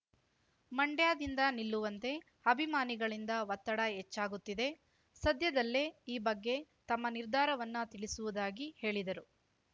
ಮಂಡ್ಯದಿಂದ ನಿಲ್ಲುವಂತೆ ಅಭಿಮಾನಿಗಳಿಂದ ಒತ್ತಡ ಹೆಚ್ಚಾಗುತ್ತಿದೆ ಸದ್ಯದಲ್ಲೇ ಈ ಬಗ್ಗೆ ತಮ್ಮ ನಿರ್ಧಾರವನ್ನ ತಿಳಿಸುವುದಾಗಿ ಹೇಳಿದರು